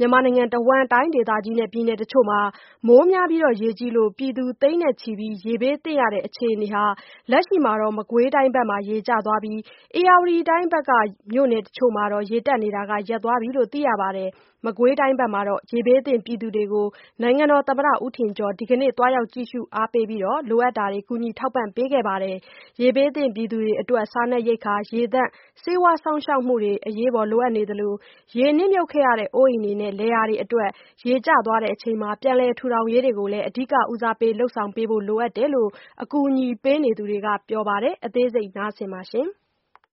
မြန်မာနိုင်ငံတဝန်း တိုင်းဒေသကြီးနဲ့ပြည်နယ်တချို့မှာ မိုးများပြီးရေကြီးလို့ပြည်သူ သိန်းချီပြီး ရေဘေးသင့်ရတဲ့အခြေအနေဟာ လက်ရှိမှာတော့ မကွေးတိုင်းဘက်မှာ ရေကျသွားပြီး ဧရာဝတီတိုင်းဘက်က မြို့နယ်တချို့မှာတော့ ရေတက်နေတာ ရပ်သွားပြီလို့ သိရပါတယ်။ မကွေးတိုင်းဘက်က ရေဘေးသင့်ပြည်သူတွေကို နိုင်ငံတော်သမ္မတဦးထင်ကျော် ဒီကနေ့ သွားရောက် ကြည့်ရှု အားပေးပြီး လိုအပ်တာတွေ ကူညီထောက်ပံ့ပေးခဲ့ပါတယ်။ ရေဘေးသင့်ပြည်သူတွေအတွက် စားနပ်ရိက္ခာနဲ့ ရေသန့်၊ ဆေးဝါး စောင့်ရှောက်မှုတွေကို အရေးပေါ်လိုအပ်နေသလို ရေနှစ်မြုပ်ခဲ့ရတဲ့အိုးအိမ်တွေနဲ့ လယ်ယာတွေအတွက် ရေကျချိန်မှာ ပြန်လည် ထူထောင်ရေးတွေကိုလည်း အဓိက ဦးစားပေး လုပ်ဆောင်ပေးဖို့ လိုအပ်တယ်လို့ အကူအညီပေးနေသူတွေက ပြောပါတယ်။ အသေးစိတ် ဆက်ပြောပြပေးပါမယ်။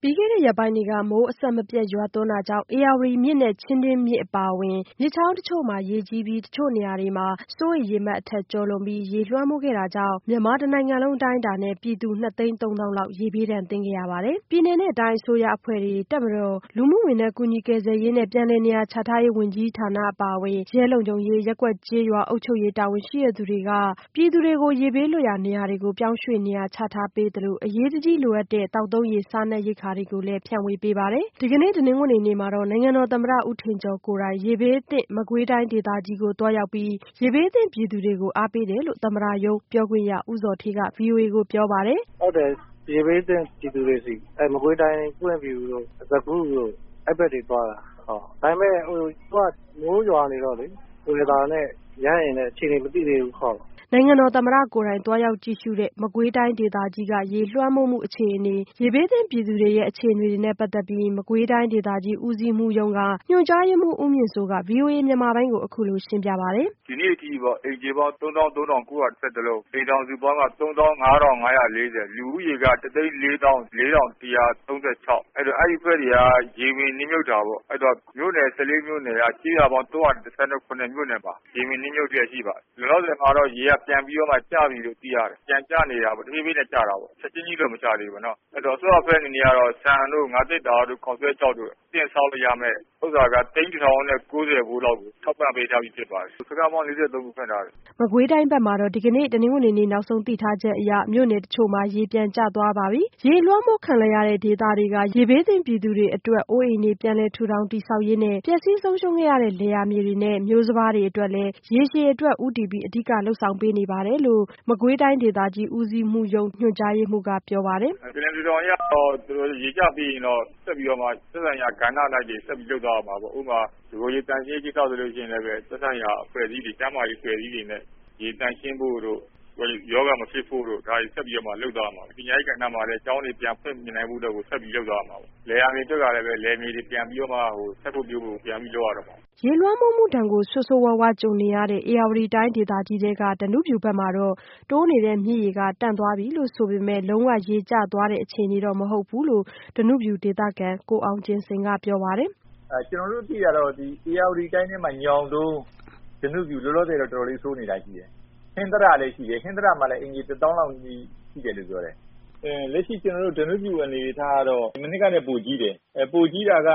ပြီးခဲ့တဲ့ရက်ပိုင်းတွေက မိုးအဆက်မပြတ်ရွာသွန်းတာကြောင့် ဧရာဝတီမြစ်နဲ့ချင်းတွင်းမြစ်အပါအဝင် မြစ် ချောင်းတချို့မှာ ရေကြီး ပြီး တချို့နေရာတွေမှာ စိုးရိမ်ရေမှတ်အထက်ကျော်လွန်ပြီး ရေလွှမ်းမိုးခဲ့တာကြောင့် မြန်မာတနိုင်ငံလုံးအတိုင်းအတာနဲ့ပြည်သူ နှစ်သိန်းသုံးသောင်းလောက် ရေဘေးဒဏ်သင့်ရပါတယ်။ ပြည်နယ်၊ တိုင်းအစိုးရအဖွဲ့တွေနဲ့ တပ်မတော်၊ လူမှုဝန်ထမ်း ကူညီ ကယ်ဆယ်ရေးနဲ့ ပြန်လည်နေရာချထားရေးဝန်ကြီးဌာနအပါအဝင် ရဲလုံခြုံရေး၊ ရပ်ကွက်ကျေးရွာ အုပ်ချုပ်ရေး တာဝန်ရှိသူတွေက ရေဘေးလွတ်ရာနေရာတွေကို ပြောင်းရွှေ့နေရာချထားပေးသလို အရေးတကြီးလိုအပ်တဲ့ သောက်သုံးရေ၊ စားနပ်ရိက္ခာတွေကို လည်း ဖြန့်ဝေပေးပါတယ်။ ဒီကနေ့ တနင်္ဂနွေနေ့မှာတော့ နိုင်ငံတော်သမ္မတ ဦးထင်ကျော်ကိုယ်တိုင် ရေဘေးသင့် မကွေးတိုင်းဒေသကြီးကို သွားရောက်ပြီး ရေဘေးသင့်ပြည်သူတွေကို အားပေးတယ်လို့ သမ္မတရုံးပြောခွင့်ရဦးဇော်ဌေးက ဗွီအိုအေကိုပြောပါတယ်။ “ဟုတ်တယ် ရေဘေးသင့်ပြည်သူတွေဆီ မကွေးတိုင်း ပွင့်ဖြူတို့၊ စကုတို့ အဲဒီဘက်ကတွေသွားတာ ။ ဒါပေမယ့် မိုးရွာနေတော့ weather နဲ့ ရဟတ်ယာဉ်နဲ့ အခြေအနေမသိသေးဘူး ဟုတ်။” နိုင်ငံတော်သမ္မတ ကိုယ်တိုင် သွားရောက်ကြည့်ရှုတဲ့ မကွေးတိုင်းဒေသကြီးက ရေလွှမ်းမိုးမှုအခြေအနေ၊ ရေဘေးသင့်ပြည်သူတွေရဲ့ အခြေအနေ တွေနဲ့ပတ်သက်ပြီး မကွေးတိုင်းဒေသကြီး ဦးစီးမှူးရုံးက ညွှန်ကြားရေးမှူးဦးမြင့်စိုးက ဗွီအိုအေမြန်မာပိုင်းကို အခုလိုရှင်းပြပါတယ်။ “ဒီနေ့အထိပေါ့ အိမ်ခြေပေါင်း ၃၃၉၂၁ လုံး ၊အိမ်ထောင်စုပေါင်းက ၃၅၅၄၀ ၊လူဦးရေးက ၁၄၄,၁၃၆ အဲဒီတော့ အဲဒါတွေက ရေတွေနှစ်မြှပ်တာပေါ့။ မြို့နယ် ၁၄ မြို့နယ်က ကျေးရွာပေါင်း ၃၁၇ မြို့နယ်ပါ ရေနှစ်မြုပ်တဲ့အထိပါ။ လောလောဆယ်မှာတော့ ရေတွေ ပြန်ကျနေတယ်လို့သိရတယ်။ တဖြည်းဖြည်းနဲ့ ရေတွေကျနေတာပေါ့နော် ချက်ချင်းကြီးတော့မကျသေးဘူးပေါ့နော် ။အဲဒီတော့ အစိုးရအဖွဲ့အနေနဲ့ကတော့ ဆန်တို့ ၊ ငါးသတ္တာတို့၊ ခေါက်စွဲခြောက်တို့ အသင့်စားလို့ရမယ့်ဟာက သိန်း ၁ ထောင်နဲ့ ၉၀ ဖိုးလောက်ကို ထောက်ပံ့ပေးထားပြီဖြစ်ပါတယ်။ စခန်းပေါင်း ၄၃ ခုဖွင့်ထားတယ်။” မကွေးတိုင်းဘက်မှာတော့ ဒီကနေ့ တနင်္ဂနွေနေ့ နောက်ဆုံးသိထားချက်အရ မြို့နယ်တချို့မှာ ရေပြန်ကျသွားပါပြီ။ ရေလွှမ်းမိုးခံ လိုက်ရတဲ့ဒေသက ရေဘေးသင့်ပြည်သူတွေအတွက် အိုးအိမ်တွေ ပြန်လည်ထူထောင်တည်ဆောက်ရေးနဲ့ ပျက်စီးဆုံးရှုံးခဲ့ရတဲ့ လယ်ယာမြေတွေနဲ့ မျိုးစပါးတွေအတွက်လည်း ရေရှည်အတွက်ဦးတည်ပြီး အဓိကလုပ်ဆောင်ပေးနေတယ်လို့ မကွေးတိုင်းဒေသ ကြီး ဦးစီးမှူးရုံး၊ ညွှန်ကြားရေးမှူးကပြောပါတယ်။ “ပြန်လည်ထူထောင်ရေးကတော့ ရေကျပြီးရင်တော့ ဆက်ပြီးတော့မှ သက်ဆိုင်ရာ ကဏ္ဍ အလိုက်တွေဆက်ပြီးတော့မှ လုပ်သွားရမှာပေါ့။ ဥပမာ- တကိုယ်ရေသန့်ရှင်းရေးကိစ္စဆိုရင် သက်ဆိုင်ရာ ကျန်းမာရေးအဖွဲ့အစည်းတွေနဲ့ ရေသန့်ရှင်းဖို့တို့ ၊ ရောဂါမဖြစ်ဖို့တို့ ဆက်ပြီးတော့ လုပ်သွားရမှာပဲ။ ပညာရေး ကဏ္ဍ မှာဆိုရင်လည်း ကျောင်းတွေဆက်ပြီးဖွင့်နိုင်ဖို့အတွက်ကို ဆက်ပြီးလုပ်သွားရမှာပဲ။ လယ်ယာမြေအတွက်ကလည်း လယ်မြေတွေပြန်ပြီးတော့မှ စိုက်ဖို့ ပျိုးဖို့အတွက်ကို ပြန်ပြီးလုပ်ရတော့မှာ။” ရေလွှမ်းမိုးမှုဒဏ်ကို ဆိုးဆိုးရွားရွားကြုံနေရတဲ့ ဧရာဝတီတိုင်းဒေသကြီး၊ ဓနုဖြူဘက်မှာတော့ တိုးနေတဲ့မြစ်ရေက တန့်သွားပြီဆို ပေမဲ့ လုံးဝ ရေကျသွားသေးတဲ့အခြေအနေတော့ မဟုတ်ဘူးလို့ ဓနုဖြူဒေသခံ ကိုအောင်ကျင်စိန်ကပြောပါတယ်။ “ကျနော်တို့သိတာတော့ ဧရာဝတီတိုင်းထဲမှာ ညောင်တုန်း၊ ဓနုဖြူ လောလောဆယ်မှာတော့ တော်တော်လေးဆိုးနေတာရှိတယ်။ ဟင်္သတလည်းရှိတယ် ဟင်္သတမှာဆိုရင် အိမ်ခြေ ၁ သောင်းလောက်ရှိတယ်လို့ပြောတယ်။ လက်ရှိ ကျနော်တို့ ဓနုဖြူအနေအထားကတော့ မနှစ်ကထက်ပိုကြီးတယ်။ ပိုကြီးတာက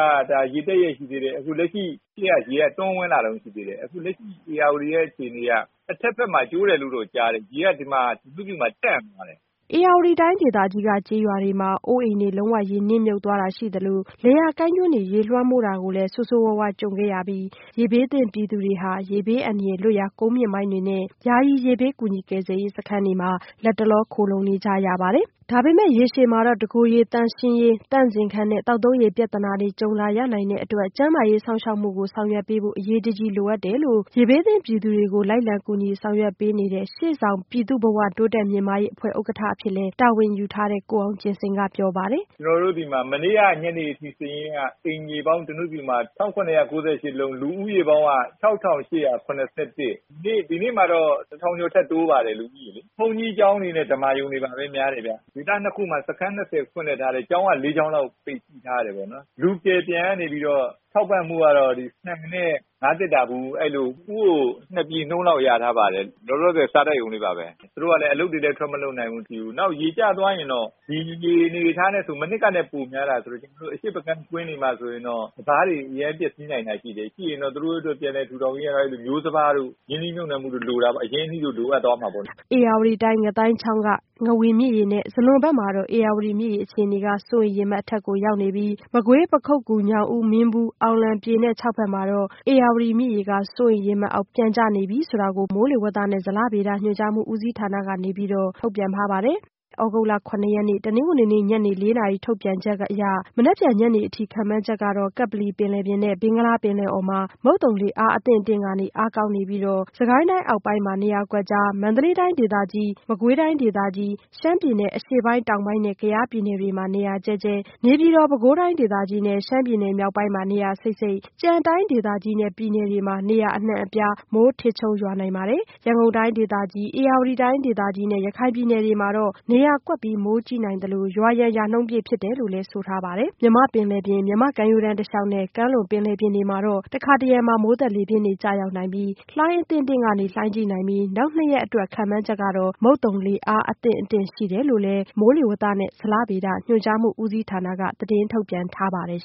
ရေတက်ရက်ရှိသေးတယ် အခုလက်ရှိရေက တိုးဝင်လာတုန်းရှိသေးတယ်။ အခုလက်ရှိရေက ဧရာဝတီရဲ့အခြေအနေက တဘက်ဘက်မှာ ကျိုးတယ်လို့တော့ကြားတယ်။ ရေက ဓနုဖြူမှာတန့်သွားတယ်။” ဧရာဝတီတိုင်းဒေသကြီးက ကျေးရွာတွေမှာ အိုးအိမ်တွေ လုံးဝရေနှစ်မြုပ်သွားတာရှိသလို လယ်ယာကိုင်းကျွန်းတွေ ရေလွှမ်းမိုး တာကိုလည်း ဆိုးဆိုးဝါးဝါးကြုံခဲ့ရပြီး ရေဘေးသင့်ပြည်သူတွေဟာ ရေဘေးအန္တရာယ်လွတ်ရာ ကုန်းမြင့်ပိုင်းတွေနဲ့ ယာယီ ရေဘေး ကူညီကယ်ဆယ်ရေးစခန်းတွေမှာ လတ်တလော ခိုလှုံနေကြရပါတယ်။ ဒါပေမဲ့ ရေရှည်မှာတော့ တကိုယ်ရေသန့်ရှင်းရေး၊ သန့်စင်ခန်းနဲ့ သောက်သုံးရေပြဿနာတွေ ကြုံလာရနိုင်တဲ့အတွက် ကျန်းမာရေးစောင့်ရှောက်မှုတွေကို ဆောင်ရွက်ပေးဖို့ အရေး တကြီးလိုအပ်တယ်လို့ ရေဘေးသင့်ပြည်သူတွေကို လိုက်လံကူညီဆောင်ရွက်ပေးနေတဲ့ ရှေ့ဆောင် ပြည်သူ့ဘဝ တိုးတက် မြင့်မားရေးအဖွဲ့ဥက္ကဋ္ဌအဖြစ်လည်း တာဝန်ယူထားတဲ့ ကိုအောင်ကျင်စိန်ကပြောပါတယ်။ “ကျနော်တို့ဆီမှာမနေ့ကညနေအထိစာရင်းအရ ဓနုဖြူမှာ အိမ်ခြေပေါင်း ၁၇၉၈ လုံး၊ လူဦးရေပေါင်းက ၆၈၇၁။ ဒီနေ့မှာတော့ ၁ ထောင်ကျော်ထပ်တိုးပါတယ် လူဦးရေက။ ဘုန်းကြီးကျောင်း နဲ့ ဓမ္မာရုံတွေမှာများတယ်ခင်ဗျ။ ဒေသ ၂ ခုမှာ စခန်း ၂၀ ဖွင့်လစ်ထားတယ် ကျောင်းက ၄ ကျောင်းလောက် ပိတ်ထားတယ်ပေါ့နော်။ လူကယ်ပြန်ကနေပြီးတော့ ထောက်ပံ့မူကတော့ ဆန်နဲ့ ငါးသတ္တာဗူး အဲဒီလို ၁ ဦးကို ၂ ပြည်လောက်တော့ရထားပါတယ်။ လောလောဆယ် စားရုံလေးပါပဲ။ သူတို့ကလည်း အလုပ်တွေလည်းထွက်မလုပ်နိုင်ဘူး ။ နောက်ရေကျသွားရင်တော့ ဒီရေအနေအထားနဲ့ဆို မနှစ်ကထပ်ပိုများတာဆိုတော့ အရှေ့ဘက်အခြမ်း ကွင်းတွေမှာဆိုရင်တော့ စပါးတွေ အရမ်း ပျက်စီးနိုင်တာတွေရှိတယ်။ ရှိရင်တော့ သူတို့အတွက် ပြန်လည်ထူထောင်ရေး အတွက် မျိုးစံပါးတို့၊ ရင်းနှီးမြုပ်နှံမှုတွေတော့လိုတာပေါ့ ၊ အရင်အနှီးလိုအပ်သွားမှာပေါ့လေ။” ဧရာဝတီတိုင်း ငသိုင်းချောင်းက ငဝန်မြစ်ရေနဲ့ ဇလွန်ဘက်မှာတော့ ဧရာဝတီမြစ်ရေအခြေအနေက စိုးရိမ်ရေမှတ် အထက် ရောက်နေပြီး မကွေး၊ ပခုက္ကူ၊ ညောင်ဦး မင်းဘူး အောင်လံ ပြည်နဲ့ ချောက်ဘက်မှာတော့ ဧရာဝတီမြစ်ရေက စိုးရိမ် ရေမှတ်အောက် ပြန်ကျနေပြီဆိုတာကို ပြန်ကြားရေးဌာနကတဆင့် ထုတ်ပြန်ထားပါတယ်။ သြဂုတ်လ ၇ ရက်နေ့ ညနေ ၄နာရီ ထုတ်ပြန်ချက်အရ မနက်ဖြန်ညနေအထိ ခန့်မှန်းချက်ကတော့ ကပ္ပလီပင်လယ်ပြင်နဲ့ ဘင်္ဂလားပင်လယ်အော်မှာ မုတ်သုံလေ အားအသင့်အတင့်ကနေ အားကောင်းနေပြီး စစ်ကိုင်းတိုင်းအောက်ပိုင်းမှာ နေရာ ကွက်ကျား၊ မန္တလေးတိုင်းဒေသကြီး၊ မကွေးတိုင်းဒေသကြီး၊ ရှမ်းပြည်နယ် နဲ့ ကယားပြည်နယ်တွေမှာ နေရာကျဲကျဲ၊ နေပြည်တော်၊ ပဲခူးတိုင်းဒေသကြီးနဲ့ ရှမ်းပြည်နယ်မြောက်ပိုင်းမှာ နေရာစိပ်စိပ်နဲ့ ကျန်တိုင်းဒေသကြီးနဲ့ ပြည်နယ် တွေမှာ နေရာအနှံ့အပြား မိုးထစ်ချုန်းရွာနိုင်ပါတယ်။ ရန်ကုန်တိုင်းဒေသကြီး၊ ဧရာဝတီတိုင်းဒေသကြီးနဲ့ ရခိုင်ပြည်နယ်တွေမှာ တော့ နေရာကွက်ပြီး မိုးကြီးနိုင်သလို ရွာရန် ရာနှုန်းပြည့် ဖြစ်တယ်လို့ဆိုထားပါတယ်။ မြန်မာ့ပင်လယ်ပြင်၊ မြန်မာ့ကမ်းရိုးတန်းတစ်လျှောက်နဲ့ ကမ်းလွန် ပင်လယ်ပြင်တွေမှာတော့ တခါတစ်ရံ မိုးသက်လေပြင်းများ ကျရောက်ပြီး လှိုင်းအသင့်အတင့်မှ လှိုင်းကြီးနိုင်ပြီး နောက်နှစ်ရက်အတွက် ခန့်မှန်းချက်ကတော့ မုတ်သုံလေ အားအသင့် အတင့်ရှိတယ်လို့လည်း မိုးလေဝသနဲ့ ဇလဗေဒညွှန်ကြားမှုဦးစီးဌာနကနေ သတင်းထုတ်ပြန်ထားပါတယ်